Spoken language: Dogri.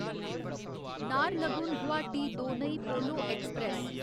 नाहरलगुन गुवाहाटी दोनयी पोलो ऐक्सप्रैस